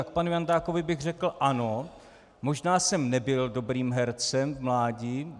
A k panu Jandákovi bych řekl - ano, možná jsem nebyl dobrým hercem v mládí.